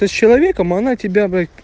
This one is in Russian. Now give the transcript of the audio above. ты с человеком а она тебя бля